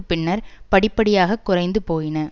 பின்னர் படிப்படியாக குறைந்து போயின